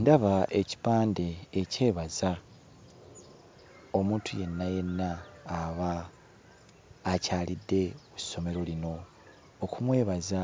Ndaba ekipande ekyebaza omuntu yenna yenna aba akyalidde ku ssomero lino okumwebaza